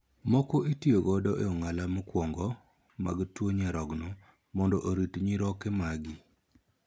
Moko itiyo godo e ong'ala mokuongo mag tuo nyarogno mondo orit nyiroke magi.